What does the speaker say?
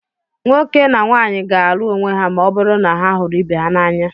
nwoke na nwaanyị ga-alụ onwe ha ma ọ bụrụ na ha hụrụ ibe ha n'anya